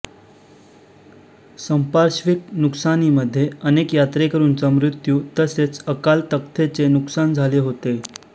संपार्श्विक नुकसानीमध्ये अनेक यात्रेकरूंचा मृत्यू तसेच अकाल तख्तचे नुकसान झाले होते